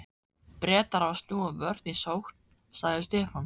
Bretar hafa snúið vörn í sókn, sagði Stefán.